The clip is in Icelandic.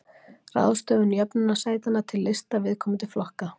Ráðstöfun jöfnunarsætanna til lista viðkomandi flokka.